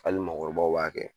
Hali mɔɔkɔrɔbaw b'a kɛ